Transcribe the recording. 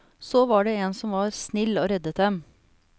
Så var det en som var snill og reddet dem.